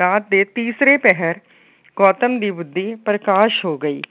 ਰਾਤ ਦੇ ਤੀਸਰੇ ਪਹਿਰ ਗੌਤਮ ਦੀ ਬੁੱਧੀ ਪ੍ਰਕਾਸ਼ ਹੋ ਗਈ।